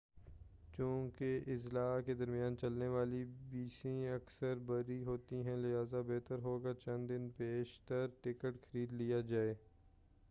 چوں کہ اضلاع کے درمیان چلنے والی بسیں اکثر بھری ہوتی ہیں لہذا بہتر ہو گا چند دن پیش تر ٹکٹ خرید لیا جائے